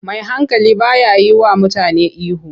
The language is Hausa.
Mai hankali ba ya yiwa mutane ihu.